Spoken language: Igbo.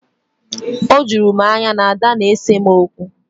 O juru m anya na Ada na-ese m okwu